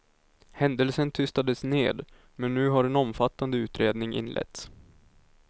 Händelsen tystades ned, men nu har en omfattande utredning inletts.